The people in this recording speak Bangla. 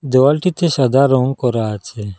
দেওয়ালটিতে সাদা রঙ করা আছে।